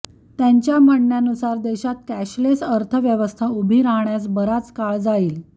त्यांच्या म्हणण्यानुसार देशात कॅशलेस अर्थव्यवस्था उभी राहण्यास बराच काळ जाईल